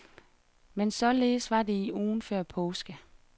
Men således var det i ugen før påske.